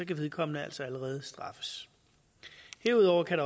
kan vedkommende altså allerede straffes derudover kan